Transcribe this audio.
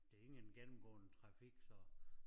Der ingen gennemgående trafik så